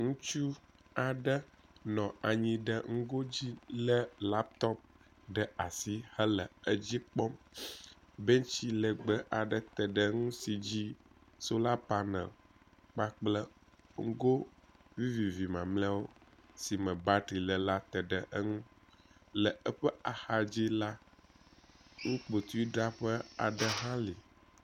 Ŋutsu aɖe nɔ anyi ɖe ŋugo dzi le laptɔp ɖe asi hele edzi kpɔm. bentsi legbe aɖe te ɖe ŋu si dzi sola panel kpakple ŋugo vivivi mamleawo si me batri le la te ɖe eŋu le eƒe axadzi la nukpotui draƒe aɖe hã li.